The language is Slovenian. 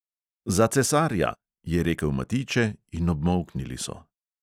"Za cesarja!" je rekel matijče in obmolknili so.